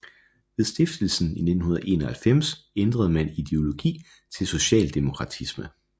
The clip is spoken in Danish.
Ved stiftelsen i 1991 ændrede man ideologi til socialdemokratisme